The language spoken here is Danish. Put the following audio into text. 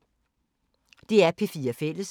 DR P4 Fælles